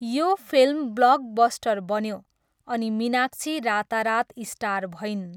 यो film blockbuster बन्यो अनि मीनाक्षी रातारात स्टार भइन्।